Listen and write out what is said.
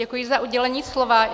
Děkuji za udělení slova.